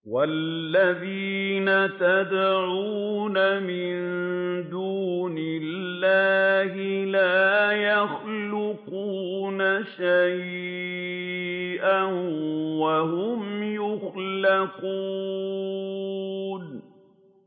وَالَّذِينَ يَدْعُونَ مِن دُونِ اللَّهِ لَا يَخْلُقُونَ شَيْئًا وَهُمْ يُخْلَقُونَ